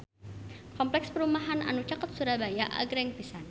Kompleks perumahan anu caket Surabaya agreng pisan